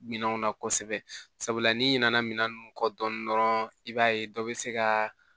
Minɛnw na kosɛbɛ sabula n'i ɲinɛna minɛn ninnu kɔ dɔɔni dɔrɔn i b'a ye dɔ bɛ se ka